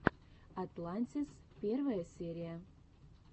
атлантис первая серия